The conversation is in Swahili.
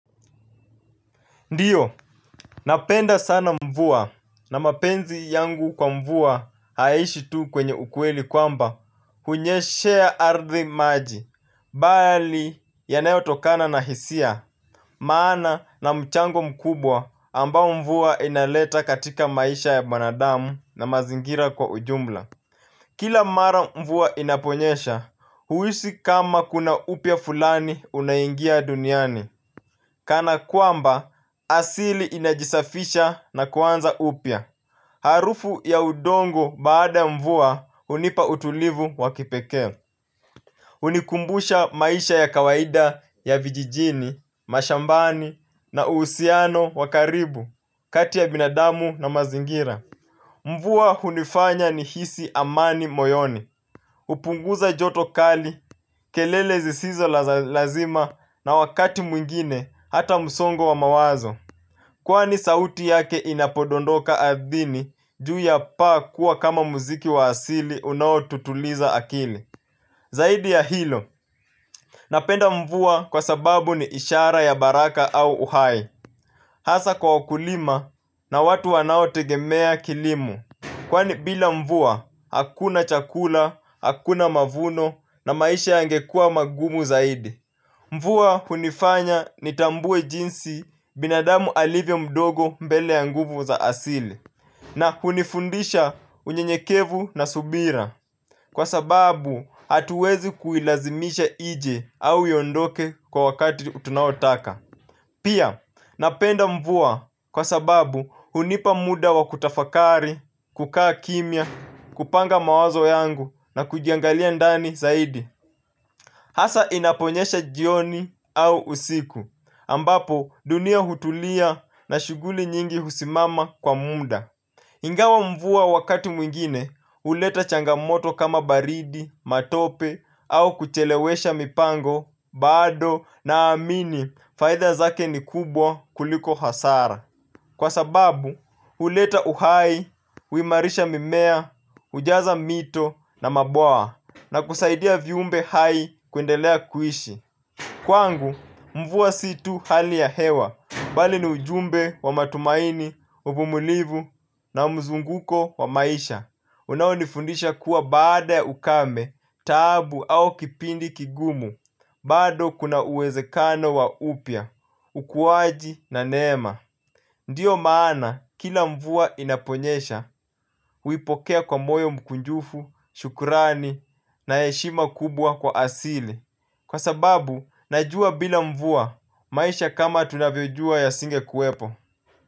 Ndiyo, napenda sana mvua, na mapenzi yangu kwa mvua haishi tu kwenye ukweli kwamba hunyeshea ardhi maji, bali yanayo tokana na hisia. Maana na mchango mkubwa ambao mvua inaleta katika maisha ya mwanadamu na mazingira kwa ujumla. Kila mara mvua inaponyesha, huhisi kama kuna upya fulani unaingia duniani. Kana kwamba asili inajisafisha na kwanza upya. Harufu ya udongo baada mvua hunipa utulivu wa kipeke. Hunikumbusha maisha ya kawaida ya vijijini, mashambani na uhusiano wakaribu kati ya binadamu na mazingira. Mvua hunifanya ni hisi amani moyoni hupunguza joto kali, kelele zisizo la lazima na wakati mwingine hata msongo wa mawazo. Kwani sauti yake inapodondoka ardhini juu ya pa kuwa kama muziki wa asili unao tutuliza akili. Zaidi ya hilo, napenda mvua kwa sababu ni ishara ya baraka au uhai. Hasa kwa wakulima na watu wanao tegemea kilimo kwani bila mvua, hakuna chakula, hakuna mavuno na maisha yangekua magumu zaidi. Mvua hunifanya nitambue jinsi binadamu alivyo mdogo mbele ya nguvu za asili. Na hunifundisha unyenyekevu na subira. Kwa sababu, hatuwezi kuilazimisha ije au iondoke kwa wakati utunaotaka. Pia napenda mvua kwa sababu hunipa muda wa kutafakari, kukaa kimia, kupanga mawazo yangu na kujiangalia ndani zaidi. Hasa inaponyesha jioni au usiku ambapo dunia hutulia na shughuli nyingi husimama kwa muda. Ingawa mvua wakati mwingine, huleta changamoto kama baridi, matope, au kuchelewesha mipango, bado, na amini, faidha zake ni kubwa kuliko hasara. Kwa sababu, huleta uhai, huimarisha mimea, hujaza mito, na maboa, na kusaidia viumbe hai kuendelea kuishi. Kwangu, mvua si tu hali ya hewa, bali ni ujumbe wa matumaini, uvumulivu na mzunguko wa maisha. Unaonifundisha kuwa baada ya ukame, tabu au kipindi kigumu, bado kuna uwezekano wa upya, ukuwaji na neema. Ndiyo maana, kila mvua inaponyesha, huipokea kwa moyo mkunjufu, shukurani na heshima kubwa kwa asili. Kwa sababu, najua bila mvua maisha kama tunavyojua ya singe kuwepo.